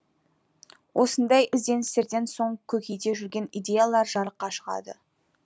осындай ізденістерден соң көкейде жүрген идеялар жарыққа шығады